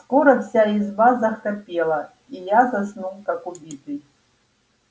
скоро вся изба захрапела и я заснул как убитый